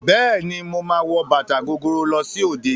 Bẹ́ẹ̀ ni, màá wọ bàtà gogoro lọ sí òde.